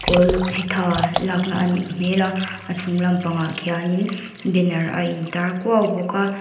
kawl phetha lakna anih hmela a chung lam pangah khianin banner a intar kuau bawk a.